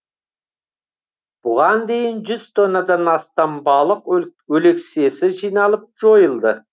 бұған дейін жүз тоннадан астам балық өлексесі жиналып жойылды